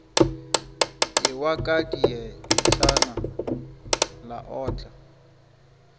ewa ka dietšana la otla